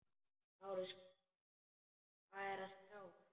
LÁRUS: Hvað er að sjá?